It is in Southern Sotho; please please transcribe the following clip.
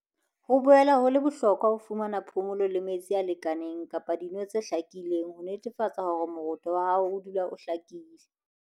"Ho boela ho le bohlokwa ho fumana phomolo le metsi a lekaneng kapa dino tse hlakileng ho netefatsa hore moroto wa hao odula o hlakile."